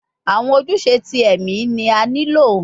Awọn ojuse ti ẹmi ni a nilo